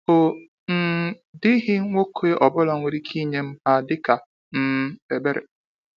Ọ um dịghị nwoke ọbụla nwere ike inye m ha dịka um ebere.